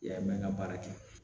Yan mɛn ka baara kɛ